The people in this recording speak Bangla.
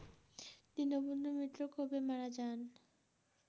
দীনবন্ধু মিত্র কবে মারা যান